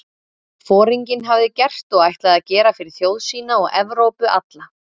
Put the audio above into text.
Foringinn hafði gert og ætlaði að gera fyrir þjóð sína og Evrópu alla?